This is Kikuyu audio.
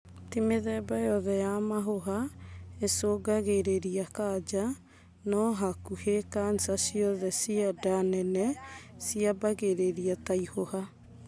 Ti mĩthemba yothe ya mahuha ĩcungangagĩrĩria kanja, no hakuhĩ kanca ciothe cia nda nene ciambagĩrĩria ta ihũha